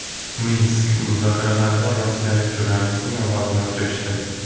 Minsk muzokaralarida rossiyalik jurnalistning ovozini o‘chirishdi .